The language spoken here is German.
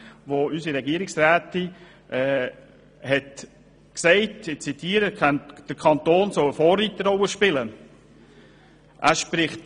Unsere Regierungsrätin hat dazu gesagt, dass der Kanton eine Vorreiterrolle spielen solle.